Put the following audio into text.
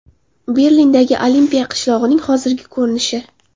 Berlindagi olimpiya qishlog‘ining hozirgi ko‘rinishi.